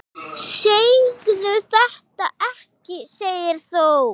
Alkóhól magn hennar var.